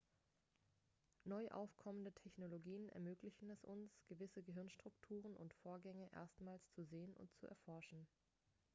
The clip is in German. neu aufkommende technologien ermöglichen es uns gewisse gehirnstrukturen und vorgänge erstmals zu sehen und zu erforschen